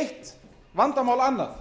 eitt vandamál annað